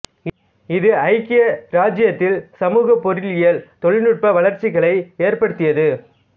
இது ஐக்கிய இராச்சியத்தில் சமூக பொருளியல் தொழில்நுட்ப வளர்ச்சிகளை ஏற்படுத்தியது